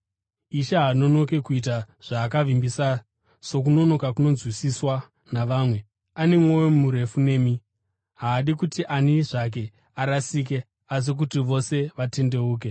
Ishe haanonoki kuita zvaakavimbisa, sokunonoka kunonzwisiswa navamwe. Ane mwoyo murefu nemi, haadi kuti ani zvake arasike, asi kuti vose vatendeuke.